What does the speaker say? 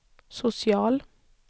social